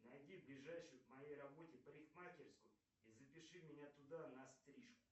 найди ближайшую к моей работе парикмахерскую и запиши меня туда на стрижку